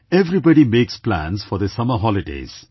Everybody makes plans for their summer holidays